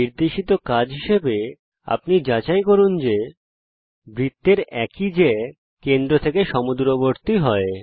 নির্দেশিত কাজ হিসাবে যাচাই করুন বৃত্তের একই জ্যা কেন্দ্র থেকে সমদূরবর্তী হয়